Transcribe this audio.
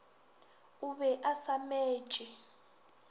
o be a sa metše